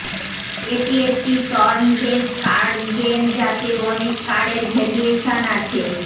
এটি একটি turn based card game যাতে অনেক কার্ডের ভেরিয়েশান আছে